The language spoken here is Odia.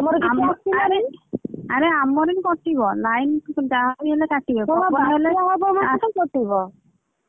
ଆରେ ଆମର ବି କଟିବ line ଯାହାବି ହେଲେ କଟିବେ